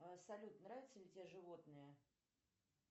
салют нравятся ли тебе животные